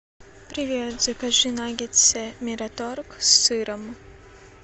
привет закажи наггетсы мираторг с сыром